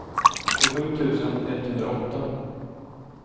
tjugosju tusen etthundraåtta